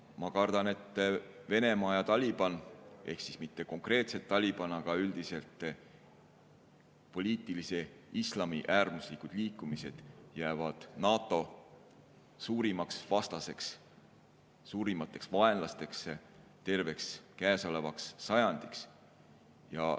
Ma kardan, et Venemaa ja Taliban, mitte konkreetselt Taliban, aga üldiselt poliitilised islamiäärmuslikud liikumised jäävad NATO suurimateks vastasteks – suurimateks vaenlasteks terveks käesolevaks sajandiks.